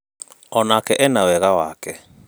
Onake ena wega wake